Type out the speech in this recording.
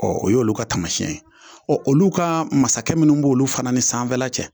o y'olu ka taamasiyɛn ye, olu ka masakɛ minnu b'olu fana ni sanfɛla cɛ.